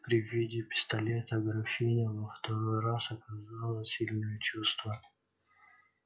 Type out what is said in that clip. при виде пистолета графиня во второй раз оказала сильное чувство